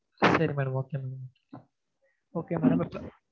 சரி madam okay madam okay madam